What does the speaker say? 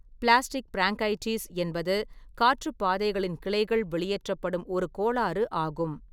Plastic bronchitis என்பது காற்றுப்பாதைகளின் கிளைகள் வெளியேற்றப்படும் ஒரு கோளாறு ஆகும்.